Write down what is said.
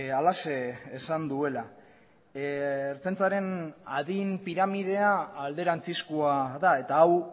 halaxe esan duela ertzaintzaren adin piramidea alderantzizkoa da eta hau